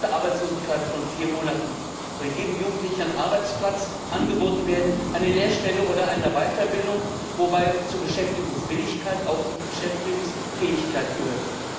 Nach einer Arbeitslosigkeit von vier Monaten soll jedem Jugendlichen ein Arbeitsplatz angeboten werden eine Lehrstelle oder eine Weiterbildung wobei zur Beschäftigungswilligkeit auch die Beschäftigungsfähigkeit gehört.